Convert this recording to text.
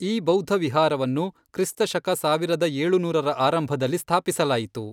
ಈ ಬೌದ್ಧವಿಹಾರವನ್ನು ಕ್ರಿಸ್ತ ಶಕ ಸಾವಿರದ ಏಳುನೂರರ ಆರಂಭದಲ್ಲಿ ಸ್ಥಾಪಿಸಲಾಯಿತು.